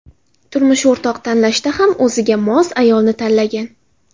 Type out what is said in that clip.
Turmush o‘rtoq tanlashda ham o‘ziga mos ayolni tanlagan.